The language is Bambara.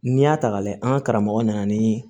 N'i y'a ta k'a lajɛ an ka karamɔgɔ nana nin